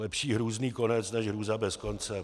Lepší hrůzný konec než hrůza bez konce.